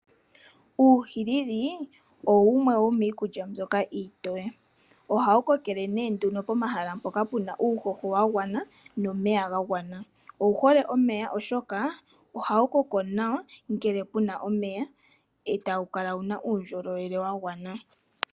Uuhilili owo wumwe wo miikulya mbyoka iitoye . Oka wu kokele pomahala mpoka pe na uuhoho wagwana nomeya gagwana. Owuhole omeya oshoka ohawu koko nawa ngele pu na omeya e ta wu kala wuna uundjolowele wagwana.